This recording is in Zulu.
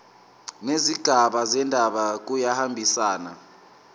nezigaba zendaba kuyahambisana